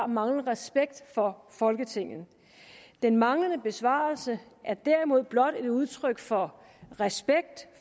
manglende respekt for folketinget den manglende besvarelse er derimod blot et udtryk for respekt